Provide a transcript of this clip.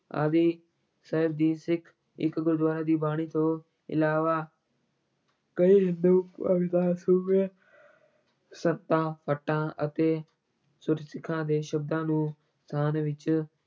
ਆਦਿ ਸਾਹਿਬ ਦੀ ਸਿੱਖ ਇੱਕ ਗੁਰੂਆਂ ਦੀ ਬਾਣੀ ਤੋਂ ਇਲਾਵਾ ਕਈ ਹਿੰਦੂ ਭਗਤਾਂ, ਸੂਫ਼ੀ ਸੰਤਾਂ, ਭੱਟਾਂ ਅਤੇ ਗੁਰਸਿੱਖਾਂ ਦੇ ਸ਼ਬਦਾਂ ਨੂੰ ਸਥਾਨ ਵਿੱਚ